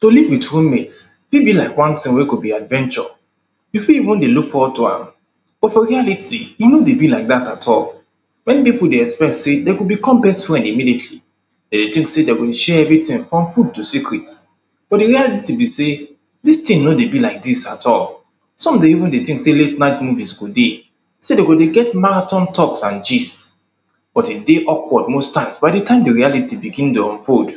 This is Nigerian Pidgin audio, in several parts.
To live with room mate fit be like one thing wey go be adventure, you fit even dey look forward to am But for reality e no dey be like dat at all. Many pipo dey expect sey dem go become best friend immediately Dem dey think sey dem go share everything up to secret but di reality be sey dis thing no dey be like dis at all. Some dey even dey think sey late night movies go dey sey dem go dey get marathon talks and gist. But e dey awkward most times by di time di reality begin dey unfold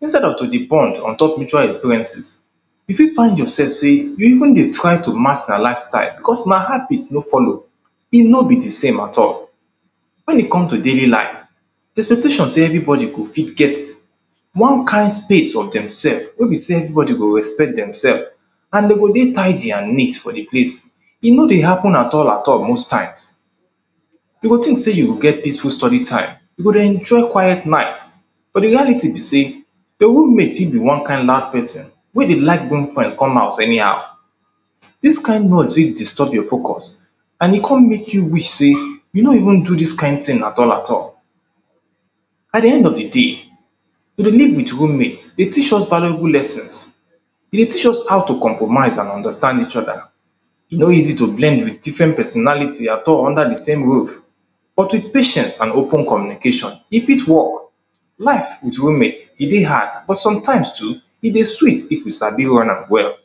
Instead of to dey bond on top mutual experiences e fit find yourself sey you even dey try to match their livestyle becos una habit no follow e no be di same at all. Wen e come to daily life, di expectation sey everybody go fit get one kind space for demself wey be sey everybody go respect demself and dem go dey tidy and neat for di place, e no dey at atl at all most times You go think sey you go get peaceful study time, you go dey enjoy quiet night but di reality be sey your roommate fit be one kind loud person wey dey like bring friends come house anyhow Dis kind noise fit disturb your focus and e come make you wish sey you no even do dis kind thing at all at all At di end of di day, to dey leave with roommate dey teach valuable lessons e dey teach us how to compromise and understand each other E no easy to blend with different personality at all under di same roof but with patience and open communication, e fit work Life with roommate e dey hard, but sometimes too e dey sweet if you sabi run am well